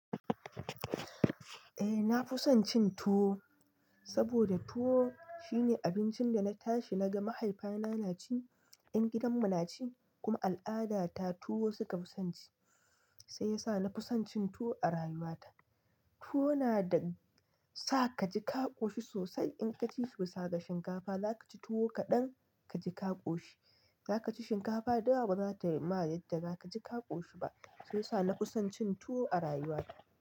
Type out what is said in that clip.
Eh na fi son cin tuwo, saboda tuwo shine abincin da na tashi na ga mahaifina na ci, 'yan gidanmu na ci kuma al'adata tuwo suka fi son ci. Sai ya sa na fi son cin tuwo a rayuwata. Tuwo na da sa ka ji ka ƙoshi sosai in ka ci sai da shinkafa za ka ci tuwo kaɗan ka ji ka ƙoshi. Za ka ci shinkafa dawa ba za ta mayar da za ka ƙoshi ba. Sai ya sa na fi son cin tuwo a rayuwata.